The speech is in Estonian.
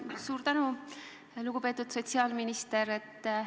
Suur tänu, lugupeetud sotsiaalminister!